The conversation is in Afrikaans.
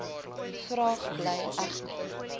vraag bly egter